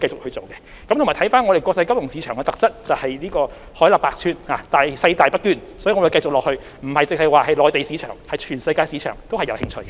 香港這個國際金融市場的特質是海納百川，細大不捐，所以，我們往後不只會着眼內地市場，全世界的市場我們都有興趣。